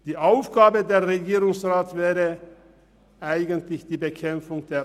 Eigentlich wäre die Bekämpfung der Armut die Aufgabe des Regierungsrats.